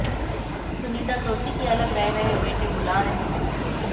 सुनीता सोची की अलग रह रहे बेटे बुला रहे होंगे